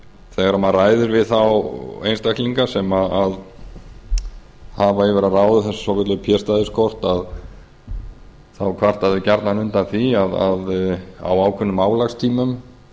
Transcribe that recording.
þegar maður ræðir við þá einstaklinga sem hafa yfir að ráða þessum svokölluðu p stæðiskortum þá kvarta þeir gjarnan undan því að á ákveðnum álagstímum